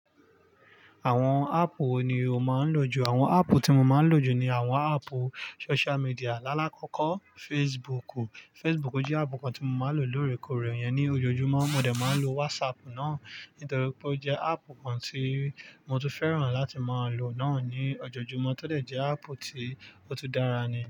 Àwọn áàpù wo ni o máa ń lò jù? Àwọn áàpù tí mo máa ń lò jù ni àwọn áàpù social media. Lálá kọ́kọ́ Facebook. Facebook jẹ́ áàpù kan tí mo máa ń lò lóòrèkóòrè yẹn ní ojoojúmọ́. Mo dè máa ń lo WhatsApp náà nítorí pé ó jẹ́ áàpù kan tí mo tún fẹ́ràn láti máa lò náà ní ojoojúmọ́ tódẹ̀ jẹ́ áàpù tí ó tún dára ni.